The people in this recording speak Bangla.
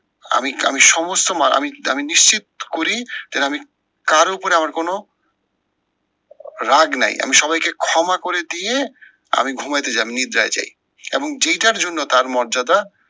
আমি আমি সমস্ত আমি আমি নিশ্চিত করি যেন আমি কারোর ওপরে আমার কোনো রাগ নাই আমি সবাইকে ক্ষমা করে দিয়ে আমি ঘুমাতে যাই আমি নিদ্রায় যাই। এবং যেটার জন্য তার মর্যাদা